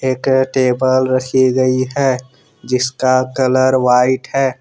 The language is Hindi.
एक टेबल रखी गई है जिसका कलर व्हाइट है।